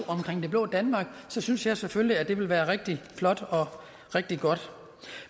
det blå danmark så synes jeg selvfølgelig at det ville være rigtig flot og rigtig godt